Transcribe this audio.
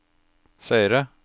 seere